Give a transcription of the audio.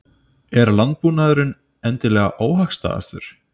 Er landbúnaðurinn endilega óhagstæðastur?